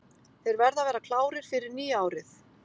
Þeir verða að vera klárir fyrir nýja árið.